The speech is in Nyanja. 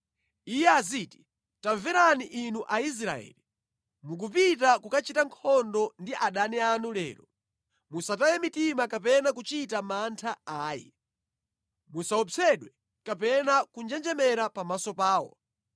Iye aziti, “Tamverani inu Aisraeli, mukupita kukachita nkhondo ndi adani anu lero. Musataye mitima kapena kuchita mantha ayi. Musaopsedwe kapena kunjenjemera pamaso pawo,